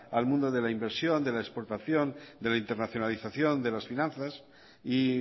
al mundo de la inversión de la exportación de la internacionalización de las finanzas y